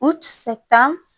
U sɛ tan